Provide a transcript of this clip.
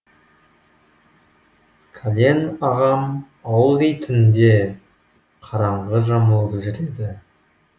кәлен ағам ылғи түнде қараңғы жамылып жүрді